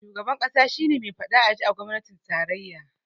Shugaban ƙasa shi ne me faɗa a ji a gwamnatin tarayya